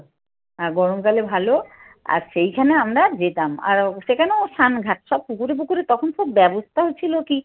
আর গরমকালে ভালো আর সেইখানে আমরা যেতাম। আর সেখানে ও স্নানঘাট সব পুকুরে পুকুরে তখন খুব ব্যবস্থাও ছিল কি